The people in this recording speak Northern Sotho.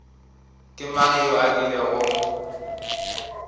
ke mang yo a kilego